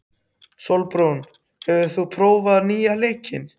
Sólbrún, hefur þú prófað nýja leikinn?